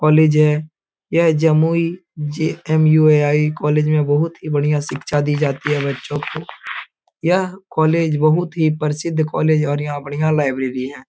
College है यह Jamui J M U I. College में बहुत ही बढ़िया शिक्षा दी जाती है बच्चों को यह कॉलेज बहुत ही प्रसिद्ध कॉलेज और यहाँ बढ़िया लाइब्रेरी है।